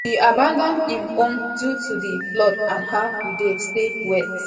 e abandon im home due to di floods and now e dey stay wit